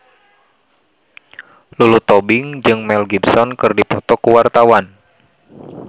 Lulu Tobing jeung Mel Gibson keur dipoto ku wartawan